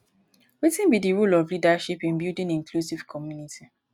wetin be di role of leadership in building inclusive community?